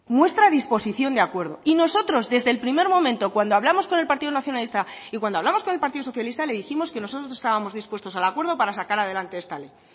muestra disposición de acuerdo y nosotros desde el primer momento cuando hablamos con el partido nacionalista y cuando hablamos con el partido socialista le dijimos que nosotros estábamos dispuestos al acuerdo para sacar adelante esta ley